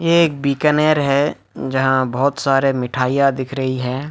एक बीकानेर है जहां पर बहुत सारे मिठाइयां दिख रही है।